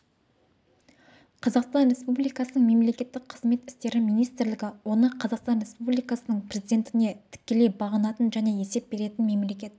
қазақстан республикасының мемлекеттік қызмет істері министрлігі оны қазақстан республикасының президентіне тікелей бағынатын және есеп беретін мемлекеттік